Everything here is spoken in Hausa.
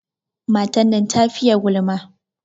Matan nan ta fiye gulma.